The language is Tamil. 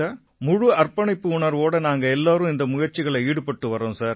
முழு அர்ப்பணிப்பு உணர்வோட நாங்க எல்லாரும் முயற்சிகள்ல ஈடுபட்டு வர்றோம் சார்